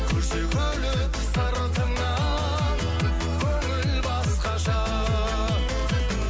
күлсе күліп сыртыңнан көңіл басқаша